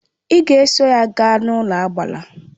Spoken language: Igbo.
Ị ga eso ya gaa n'ụlọagbara!